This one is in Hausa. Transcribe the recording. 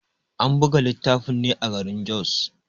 An buga littafin ne a garin Jos.